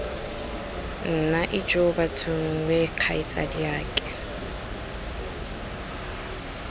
nna ijoo bathong wee kgaitsadiake